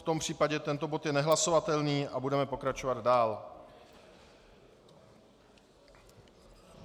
V tom případě tento bod je nehlasovatelný a budeme pokračovat dál.